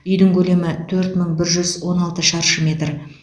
үйдің көлемі төрт мың бір жүз он алты шаршы метр